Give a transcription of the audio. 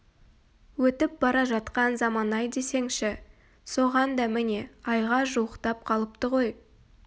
өтіп бара жатқан заман-ай десеңші соған да міне айға жуықтап қалыпты ғой